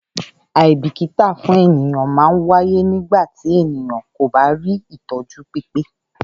Àìbìkítà fún ènìyàn man ń wáyé nígbàtí ènìyàn kò bá rí ìtọ́jú pípé